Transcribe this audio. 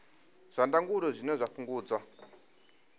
zwa ndangulo zwine zwa fhungudza